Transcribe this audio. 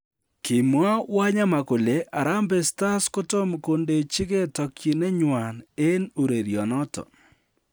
Kimwaa Wanyama kole harambee stars kotomo kondechigee tokyinenywan en urerionoton